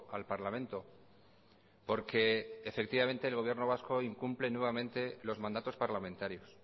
al parlamento porque efectivamente el gobierno vasco incumple nuevamente los mandatos parlamentarios